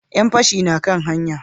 Yan fashi na kan hanya?